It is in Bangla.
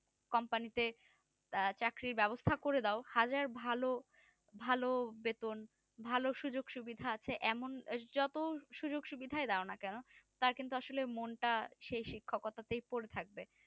company তে চাকরির ব্যাবস্তা করে দাও হাজার ভালো ভালো বেতন ভালো সুযোগ সুবিদা আছে যত যতই সুযোগ সুবিদা দাও না কেনো তার কিন্তু আসলে মনটা সেই শিক্ষকতাতেই পরে থাকবে